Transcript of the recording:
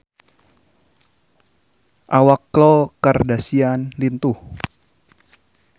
Awak Khloe Kardashian lintuh